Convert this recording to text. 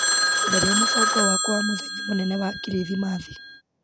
Tharia mũbango wakwa wa muthenya mũnene wa krithimathi.